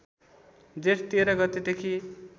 जेठ १३ गतेदेखि